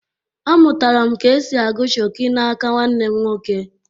Amụtara m ka esi agụ Shoki n’aka nwanne m nwoke